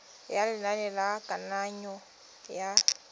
ya lenane la kananyo ya